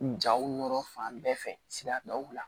Jaw nɔrɔ fan bɛɛ fɛ sigidaw la